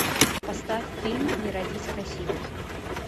поставь фильм не родись красивой